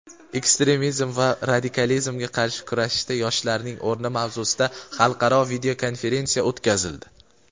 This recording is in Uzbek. ekstremizm va radikalizmga qarshi kurashishda yoshlarning o‘rni mavzusida xalqaro videokonferensiya o‘tkazildi.